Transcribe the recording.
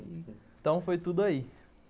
Então, foi tudo aí.